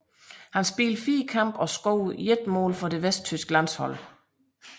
Han spillede fire kampe og scorede ét mål for det vesttyske landshold